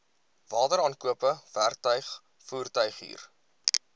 wateraankope werktuig voertuighuur